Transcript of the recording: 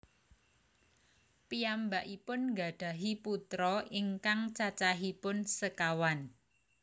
Piyambakipun nggadhahi putra ingkang cacahipun sekawan